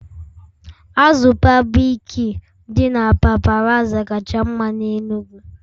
Azụ berbecue dị na paparazzi kacha mma n'Enugwu